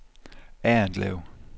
Errindlev